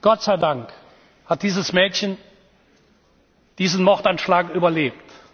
Gott sei Dank hat dieses Mädchen diesen Mordanschlag überlebt.